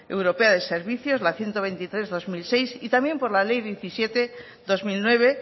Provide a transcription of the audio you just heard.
europea de servicios la ciento veintitrés barra dos mil seis y también por la ley diecisiete barra dos mil nueve